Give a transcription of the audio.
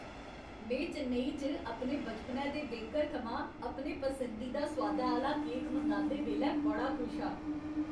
में चेन्नई च अपने बचपनै दे बेकर थमां अपने पसंदीदा सोआदै आह्‌ला केक मंगांदे बेल्लै बड़ा खुश हा।